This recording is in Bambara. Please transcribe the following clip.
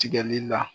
Tigɛli la